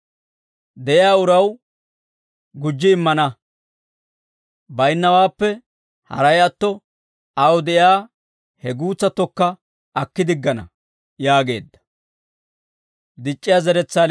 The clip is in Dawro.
de'iyaa uraw gujji immana; baynnawaappe haray atto, aw de'iyaa he guutsattokka akki diggana» yaageedda.